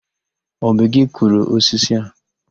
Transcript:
Ọ bụ gị kụrụ osisi a?